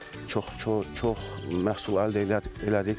Çox çox məhsul əldə elədik.